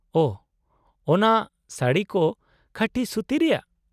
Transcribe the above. -ᱳᱦᱚ, ᱚᱱᱟ ᱥᱟᱹᱲᱤ ᱠᱚ ᱠᱷᱟᱸᱴᱤ ᱥᱩᱛᱤ ᱨᱮᱭᱟᱜ ᱾